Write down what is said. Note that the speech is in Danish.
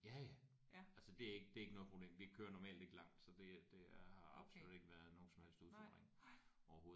Ja ja. Altså det er ikke det er ikke noget problem. Vi kører normalt ikke langt så det er det er har ikke været nogen som helst udfordring overhovedet